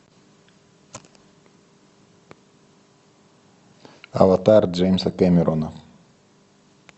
аватар джеймса кэмерона